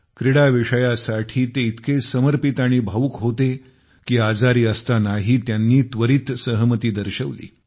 क्रीडा विषयासाठी ते इतके समर्पित आणि भावूक होते की आजारी असतानाही त्यांनी त्वरित सहमती दर्शविली